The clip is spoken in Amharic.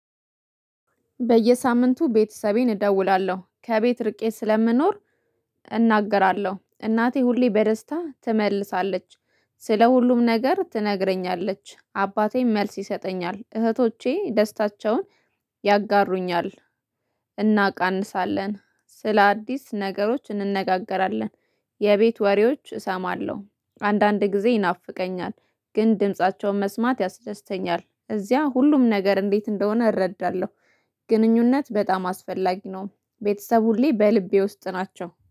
በየሳምንቱ ቤተሰቤን እደውላለሁ ከቤት ርቄ ስለምኖር አናግራለሁ እናቴ ሁሌ በደስታ ትመልሳለች። ስለ ሁሉም ነገር ትነግረኛለች አባቴም መልስ ይሰጠኛል እህቶቼ ደስታቸውን ያጋሩኛል። እናቃንሳለን ስለ አዲስ ነገሮች እንነጋገራለን። የቤት ወሬዎች እሰማለሁ አንዳንድ ጊዜ ይናፍቀኛል ግን ድምፃቸውን መስማት ያስደስተኛል። እዚያ ሁሉም ነገር እንዴት እንደሆነ እረዳለሁ። ግንኙነት በጣም አስፈላጊ ነው። ቤተሰቤ ሁሌ በልቤ ውስጥ ናቸው